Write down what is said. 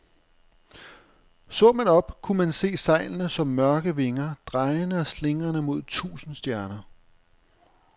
Så man op, kunne man se sejlene som mørke vinger, drejende og slingrende mod tusinde stjerner.